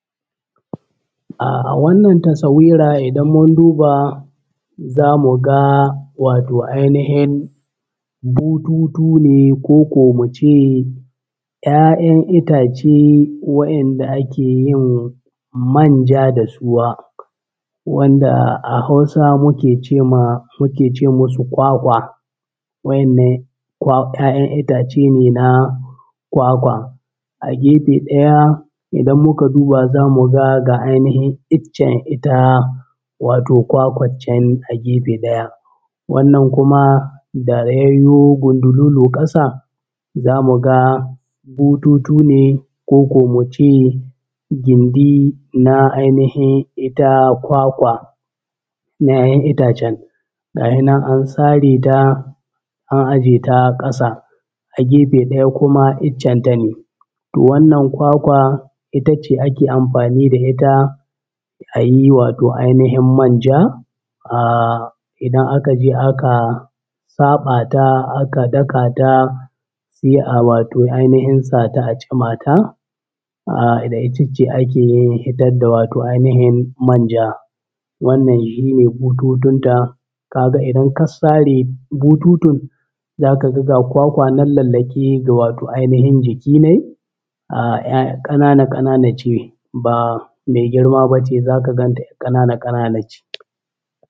Ahh wannan tasawira idan mun duba za mu ga wato ainihin bututu ne koko mu ce ‘ya’yan itace wa’inda ake yin manja da suwa, wanda a Hausa mu ke ce masu kwakwa. Wa’ennan kwa ‘ya’yan itace ne na kwakwa. A gefe ɗaya idan muka duba za mu ga ga ainihin iccen ita wato kwakwat can a gefe ɗaya. Wannan kuma da ya yo gundululu ƙasa, za mu ga bututu ne koko mu ce gindi na ainihin ita kwakwa na ‘ya’yan itacen, gahe nan an sare ta an aje ƙasa. A gefe ɗaya kuma iccen ta ne. Toh wannan kwakwa ita ce ake amfani da ita a yi wato ainihin manja, ahhh idan aka je aka saɓa ta aka daka ta sai a wato ainihin sa ta a tsuma ta, ahh da ita ce ake yin fitar da wato ainihin manja. Wannan shi ne bututun ta, ka ga idan ka sare bututun za ka ga ga kwakwa nan lallaƙe ga wato ainihin jiki nai ahhh ai ƙanana-ƙanana ce ba mai girma ba ce za ka gan ta ƙanana-ƙanana ce.